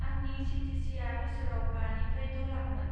आंनि चि टि चिआ बोसोराव बानिफ्राय द' लाखमोन।